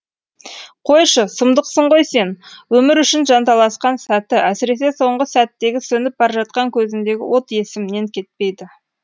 қойшы сұмдықсың ғой сен өмір үшін жанталасқан сәті әсіресе соңғы сәттегі сөніп бара жатқан көзіндегі от есімнен кетпейді